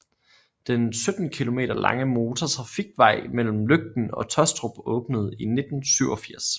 Den 17 kilometer lange motortrafikvej mellem Løgten og Tåstrup åbnede i 1987